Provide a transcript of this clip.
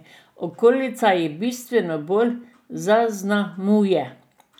Okolica jih bistveno bolj zaznamuje.